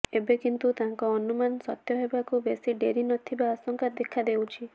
ଏବେ କିନ୍ତୁ ତାଙ୍କ ଅନୁମାନ ସତ୍ୟ ହେବାକୁ ବେଶି ଡେରି ନଥିବା ଆଶଙ୍କା ଦେଖାଦେଇଛି